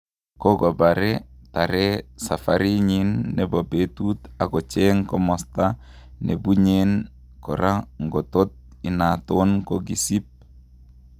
Kokopare tare safari nyin nepo petut ak kocheng komosta nepunyen kora ngotot inaton kokisip